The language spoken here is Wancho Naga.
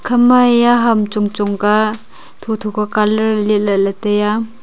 khama haiya kam chong chong ka tho tho ka colour letla e ley taiya.